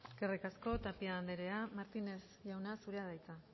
eskerrik asko tapia andrea martinez jauna zurea da hitza